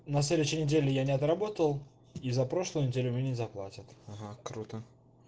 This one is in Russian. на следующей неделе я не отработал и за прошлую неделю мне не заплатят ага круто